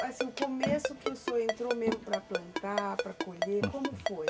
Foi o começo que o senhor entrou mesmo para plantar, para colher, como foi?